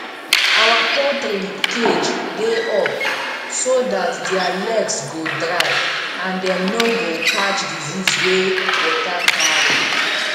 our poultry cage dey up so dat their legs go dry and dem no go catch disease wey water carry